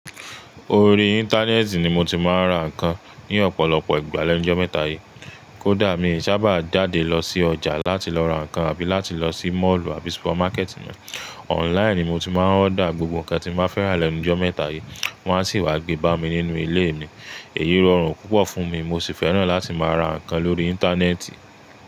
Orí Íńtánẹ́ẹ̀tì ni mo ti máa ń ra ǹkan ní ọ̀pọ̀lọpọ̀ ìgbà lẹ́nu jọ́ mẹ́ta yíi. Kódà mi sàbà dáde lọ sí ọjà láti lọ ra ǹkan àbí láti lọ sí moolù àbí súpámákẹ́tì. Online ni mo ti máa ń order gbogbo ǹkan tí mo bá fẹ́ rà lẹ́nu jọ́ mẹ́ta yíi. Wọ́n á sì wá gbé bá mi nínú ilé mi. Èyí rọrùn púpọ̀ fún mi, mo sì fẹ́ràn láti máa ra ǹkan lórí Íńtánẹ́ẹ̀tì.